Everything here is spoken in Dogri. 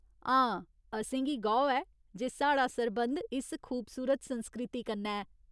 हां, असेंगी गौह् ऐ जे साढ़ा सरबंध इस खूबसूरत संस्कृति कन्नै ऐ।